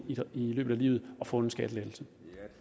løbet af livet og få en skattelettelse